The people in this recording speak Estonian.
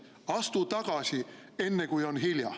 Astu tagasi, enne kui on hilja.